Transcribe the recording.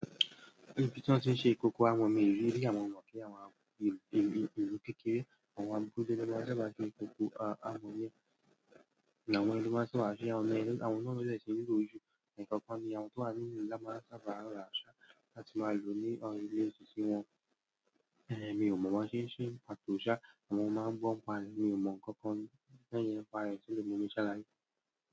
Ibi tí wọ́n ti ń ṣe ìkòkò àmọ̀ mi ò ri rí, àmọ́ mo mọ̀ pé àwọn ìlú kékeré, àwọn abúlé làwọn ẹni ló máa ń sábà ṣe, àwọn ọmọ ẹlẹ́sìn nínú òṣù èkọ́ kan ni àwọn tó wà nínú ìlú ńlá máa sábà ràwọ àṣà láti máa lò ó ní orílẹ̀ èsì tí wọn. Èmi ò mọ̀ máa ṣe ń ṣe pàtó ìṣà, àwọn ọmọ máa ń gbọ́ n pa è, mi ò mọ nǹkan kan nínú ẹni pa ènìyàn tẹ́lẹ̀, mo ní ṣaláì.